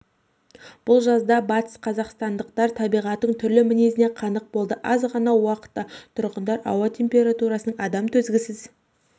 бұл жазда батысқазақстандықтар табиғаттың түрлі мінезіне қанық болды аз ғана уақытта тұрғындар ауа температурасының адам төзгісіз